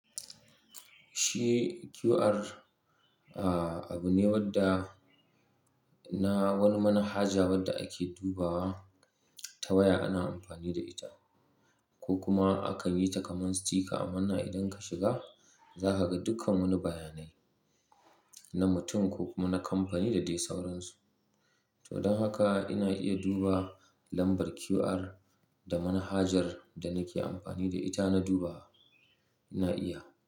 Shi QR, ah abu ne wadda na wani mana haja wadda ake duba ta waya ana amfani da ita. Ko kuma akan yi ta kamar sticker ammana idan ka shiga, za ka ga dukkan wani bayanai na mutum ko kuma na kamfani da dai sauransu. To don haka ina iya duba lambar QR da mana hajar da nake amfani da ita na duba, ina iya.